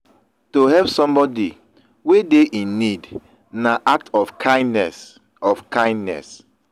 to help somebody wey de in need na act of kindness of kindness